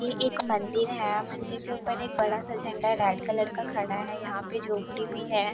ये एक मंदिर है मंदिर के ऊपर एक बड़ा सा झंडा है रेड कलर का खड़ा है यहाँ पे झोपड़ी भी है।